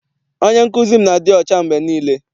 Onye nkụzi m na-adị ọcha mgbe niile.